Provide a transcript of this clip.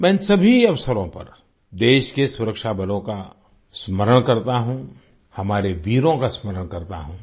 मैं इन सभी अवसरों पर देश के सुरक्षा बलों का स्मरण करता हूँ हमारे वीरों का स्मरण करता हूँ